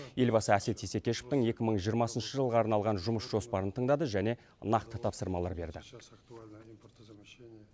елбасы әсет исекешевтің екі мың жиырмасыншы жылға арналған жұмыс жоспарын тыңдады және нақты тапсырмалар берді